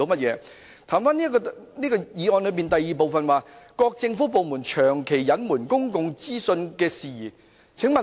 讓我言歸議案的第二部分，即"各政府部門長期隱瞞公共資訊事宜"。